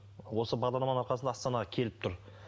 осы бағдарламаның арқасында астанаға келіп тұр